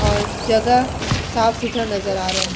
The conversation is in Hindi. और जगह साफ़-सुथरा नजर आ रहा है।